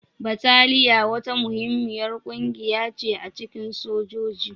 Bataliya wata muhimmiyar ƙungiya ce a cikin sojoji.